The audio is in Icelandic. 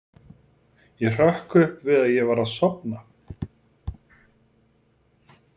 Ég hrökk upp við að ég var að sofna.